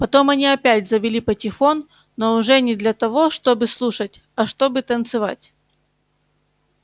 потом они опять завели патефон но уже не для того чтобы слушать а чтобы танцевать